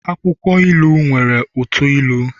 akwukwo ilu nwere uto ilu